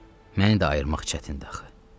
Məni də ayırmaq çətindir axı.